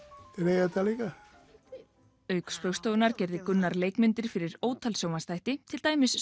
eiga þetta líka auk Spaugstofunnar gerði Gunnar leikmyndir fyrir ótal sjónvarpsþætti til dæmis